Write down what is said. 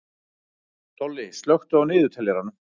Tolli, slökktu á niðurteljaranum.